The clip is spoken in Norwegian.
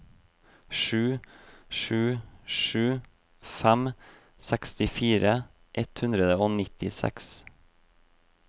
sju sju sju fem sekstifire ett hundre og nittiseks